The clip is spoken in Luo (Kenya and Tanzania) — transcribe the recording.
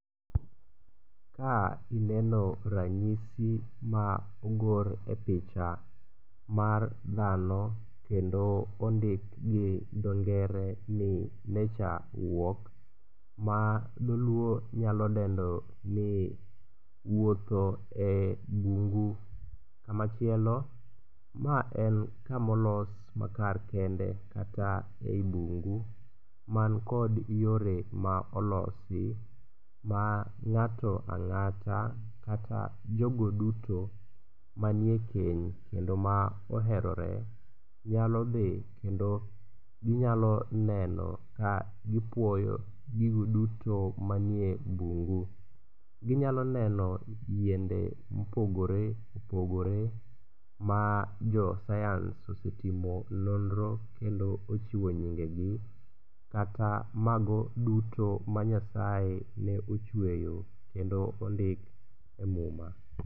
Ka ineno ranyisi ma ogor e picha mar dhano kendo ondik gi dho ngere ni nature walk ma dholuo nyalo dendo ni wuotho e bungu. Kamachielo ma en kama olos makar kende kata ei bungu man kod yore ma olosi ma ng'ato ang'ata kata jogo duto manie keny ma oherore nyalo dhi kendo ginyalo neno ka gipuoyo gigo duto manie bungu. Ginyalo neno yiende mopogore opogore ma jo sayans osetimo nonro kendo ose chiwo nyingegi kata mago duto ma Nyasaye ne ochweyo kendo ondik e Muma